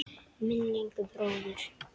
Minning um bróður.